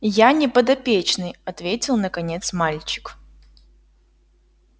я не подопечный ответил наконец мальчик